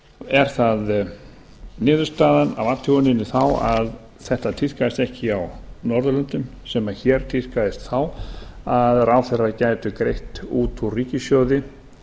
er það niðurstaðan af athuguninni þá að þetta tíðkaðist ekki á norðurlöndum sem hér tíðkaðist þá að ráðherrar gætu greitt út úr ríkissjóði